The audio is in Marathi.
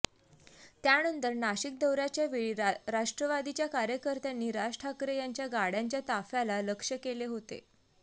त्यानंतर नाशिक दौऱ्याच्यावेळी राष्ट्रवादीच्या कार्यकर्त्यांनी राज ठाकरे यांच्या गाड्यांच्या ताफ्याला लक्ष्य केले होते